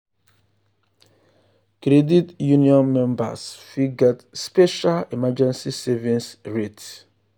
credit union members fit get special emergency savings rate.